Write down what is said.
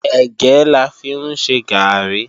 Ẹ̀gẹ́ la fi ń ṣe gààrí